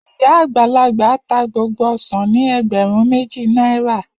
Iya agbalagba ta gbogbo osan ni egberun meji naira.